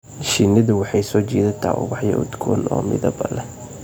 Shinnidu waxay soo jiidataa ubaxyo udgoon oo midab leh.